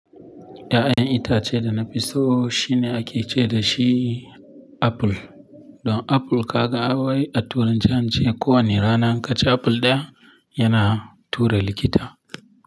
Ya'yan itace da na fi so shine ake ce da shi apple. Don apple ka ga wai a turanci an ce ko wanne ranar kaci apple ɗaya yana tura likita.